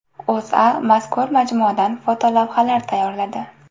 O‘zA mazkur majmuadan fotolavhalar tayyorladi .